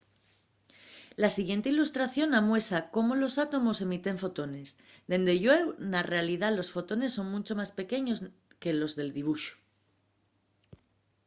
la siguiente ilustración amuesa cómo los átomos emiten fotones dende llueu na realidá los fotones son muncho más pequeños que los del dibuxu